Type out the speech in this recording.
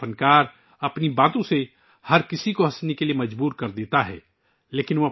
ایک مزاحیہ فنکار اپنی باتوں سے سب کو ہنسنے پر مجبور کر دیتا ہے